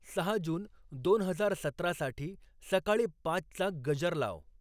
सहा जून दोन हजार सतरा साठी सकाळी पाचचा गजर लाव